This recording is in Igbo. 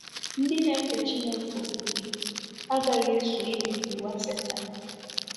Ndị na-efe Chineke ofufe agaghị eso ibibi ụwa Setan.